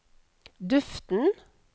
duften